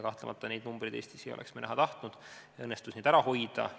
Kahtlemata me ei oleks Eestis selliseid numbreid näha tahtnud ja see kõik õnnestus ära hoida.